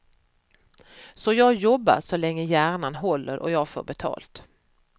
Så jag jobbar så länge hjärnan håller och jag får betalt.